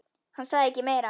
Hann sagði ekki meira.